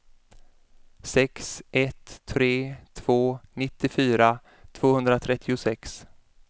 sex ett tre två nittiofyra tvåhundratrettiosex